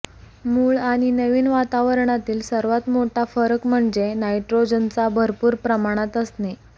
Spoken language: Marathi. मूळ आणि नवीन वातावरणातील सर्वात मोठा फरक म्हणजे नायट्रोजनचा भरपूर प्रमाणात असणे